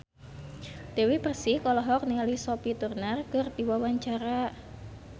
Dewi Persik olohok ningali Sophie Turner keur diwawancara